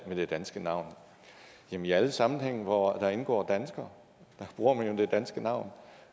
det danske navn jamen i alle sammenhænge hvor der indgår danskere bruger man jo det danske navn